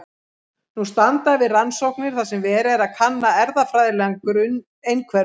Nú standa yfir rannsóknir þar sem verið er að kanna erfðafræðilegan grunn einhverfu.